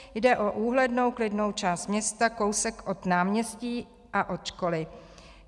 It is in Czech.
Jde o úhlednou klidnou část města kousek od náměstí a od školy.